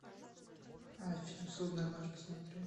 фильм судная ночь посмотреть